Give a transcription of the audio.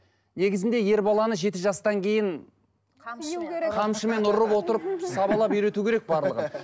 негізінде ер баланы жеті жастан кейін қамшымен ұрып отырып сабалап үйрету керек барлығын